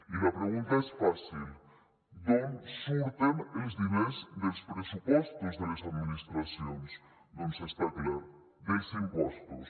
i la pregunta és fàcil d’on surten els diners dels pressupostos de les administracions doncs està clar dels impostos